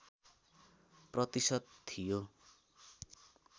प्रतिशत थियो